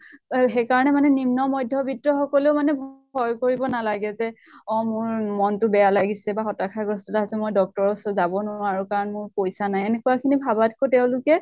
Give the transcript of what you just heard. অহ সেইকাৰণে মানে নিম্ন ম্ধ্য়বৃত্ত সকলেও মানে ভয় কৰিব নালাগে যে অ মোৰ মনতো বেয়া লাগিছে বা হতাশা গ্ৰস্থতা আছে, মই doctor ৰ ওচৰত যাব নোৱাৰো কাৰণ মোৰ পইচা নাইএনেকুৱা খিনি ভাবাতকৈ তেওঁলোকে